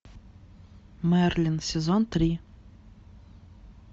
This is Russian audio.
мерлин сезон три